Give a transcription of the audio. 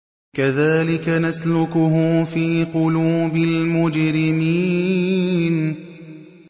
كَذَٰلِكَ نَسْلُكُهُ فِي قُلُوبِ الْمُجْرِمِينَ